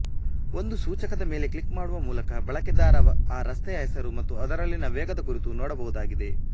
ಒಂದು ಸೂಚಕದ ಮೇಲೆ ಕ್ಲಿಕ್ ಮಾಡುವ ಮೂಲಕ ಬಳಕೆದಾರ ಆ ರಸ್ತೆಯ ಹೆಸರು ಮತ್ತು ಅದರಲ್ಲಿನ ವೇಗದ ಕುರಿತು ನೋಡಬಹುದಾಗಿದೆ